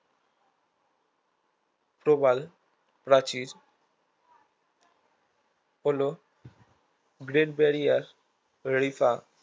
প্রবালপ্রাচীর হলো great barrier Rifa